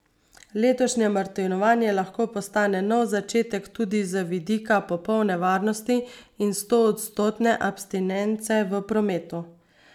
Letošnje martinovanje lahko postane nov začetek tudi z vidika popolne varnosti in stoodstotne abstinence v prometu.